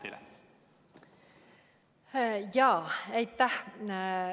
Aitäh!